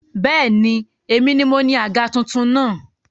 Bẹ́ẹ̀ni, èmi ni moní àga tuntun náà